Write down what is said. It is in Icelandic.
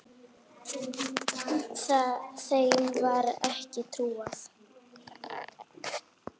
Þeim var ekki trúað.